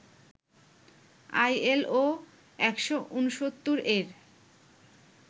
ILO ১৬৯ এর